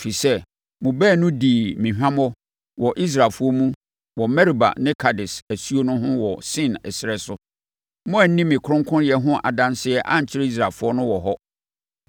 Ɛfiri sɛ, mo baanu dii me hwammɔ wɔ Israelfoɔ mu wɔ Meriba ne Kades asuo ho wɔ Sin ɛserɛ so. Moanni me kronkronyɛ ho adanseɛ ankyerɛ Israelfoɔ no wɔ hɔ.